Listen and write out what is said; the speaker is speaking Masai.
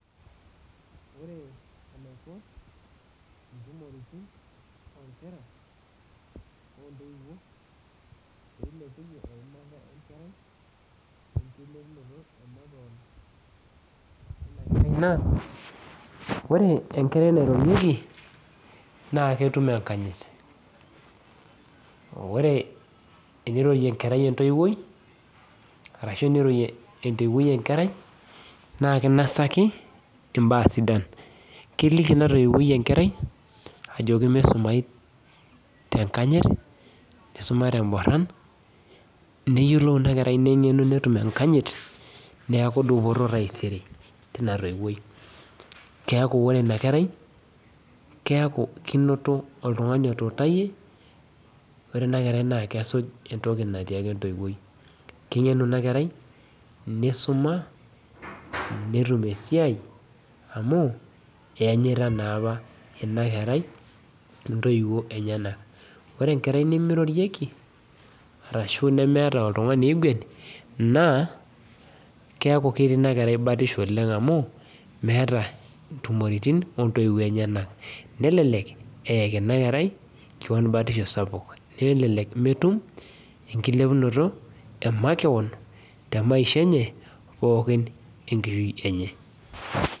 Ore enaiko ntumoritin o enkerai ontoiwuo pilepiunye enkisuma enkerai ore enkae na ore enkerai nairorieki na ketuk enkanyit ore tenirorie enkerai entoiwoi ashu tenurorie entoiwoi enkerai na kinasakiinbaa sidan keliku inatoiwoi enkerai ajoki misumai tenkanyit neyiolou inakerai nengenu netum enkanyit neaku dupoto taisere tina toiwoi neaku ore dupoto tina kerai keaku kinoto oltungani otuutayie neaku kesuj entoki natiaka entouwoi, keyiolo inakerai nisuma netumbesiai amu eanyita naapa inakerai ntoiwuo enyenak ore enkerai nimirorieki arashu nemeeta oltunganu oiguan neaku ketii batisho amu meeta ntumoritin ontoiwuo enyenak nelelek eyaju inakerai keon batisho sapuk nelelek metum enkilepunoto emakeon temaisha enye pookin enkishui enye.